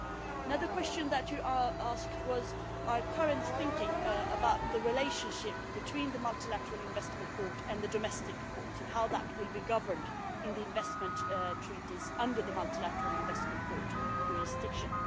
Another question that was asked was about our current thinking on the relationship between the Multilateral Investment Court and the domestic courts, and how that will be governed in the investment treaties under the Multilateral Investment Court jurisdiction.